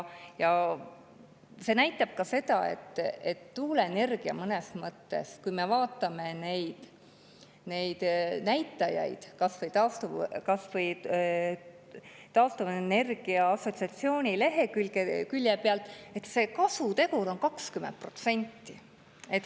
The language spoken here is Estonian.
Ja seda näitab ka see, et tuuleenergia puhul – vaatame neid näitajaid kas või taastuvenergia assotsiatsiooni leheküljelt – on kasutegur 20%.